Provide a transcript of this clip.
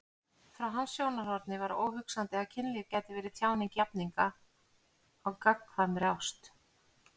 Frá hans sjónarhorni var óhugsandi að kynlíf gæti verið tjáning jafningja á gagnkvæmri ást.